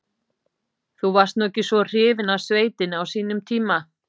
Þú varst nú ekki svo hrifinn af sveitinni á sínum tíma.